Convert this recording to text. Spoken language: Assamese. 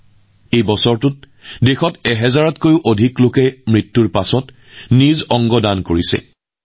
শেহতীয়া বছৰবোৰত দেশত সহস্ৰাধিক লোকে মৃত্যুৰ পিছত নিজৰ অংগ দান কৰিছিল